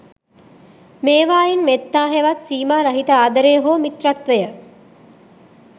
මේවායින් මෙත්තා හෙවත් සීමාරහිත ආදරය හෝ මිත්‍රත්වය